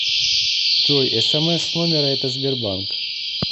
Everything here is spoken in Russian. джой смс с номера это сбербанк